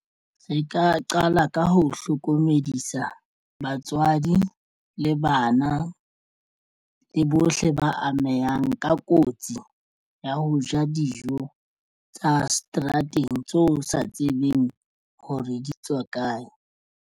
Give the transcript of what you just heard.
Re ka qala ka ho hlokomedisa batswadi le bana le bohle ba amehang ka kotsi ya ho ja dijo tsa seterateng tso sa tsebeng ho re di tswa kae.